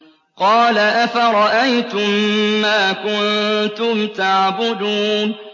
قَالَ أَفَرَأَيْتُم مَّا كُنتُمْ تَعْبُدُونَ